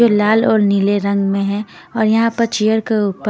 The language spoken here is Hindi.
जो लाल और नीले रंग में है और यहाँ पर चेयर क ऊपर --